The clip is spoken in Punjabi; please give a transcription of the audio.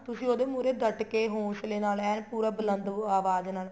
ਤੁਸੀਂ ਉਹਦੇ ਮਹੁਰੇ ਡੱਟਕੇ ਹੋਸਲੇ ਨਾਲ ਐਨ ਪੂਰਾ ਬੁਲੰਦ ਆਵਾਜ ਨਾਲ